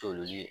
Toli